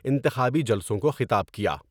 انتخابی جلسوں کو خطاب کیا ۔